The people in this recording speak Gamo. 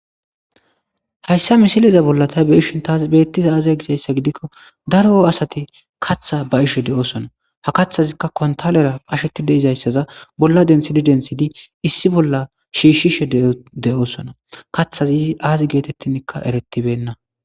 Hayssa misilezan ta be'ishin tas beetiday azee gizayssa gidikko daro asati katha ba'ishe doosona. Ha kathazikka kontalera qasheti dizayssara bolla denthidi denthidi issi bolla shiishishe de'osona. kathazi aazi geetethinkka eretibeena.